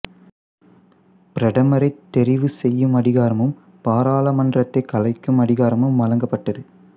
பிரதமரை தெரிவு செய்யும் அதிகாரமும் பாராளுமன்றத்தை களைக்கும் அதிகாரமும் வழங்கப்பட்டது